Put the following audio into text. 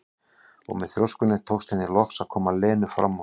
Og með þrjóskunni tókst henni loks að koma Lenu fram úr.